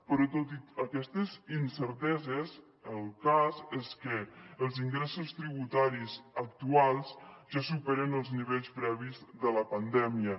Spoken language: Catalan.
però tot i aquestes incerteses el cas és que els ingressos tributaris actuals ja superen els nivells previs de la pandèmia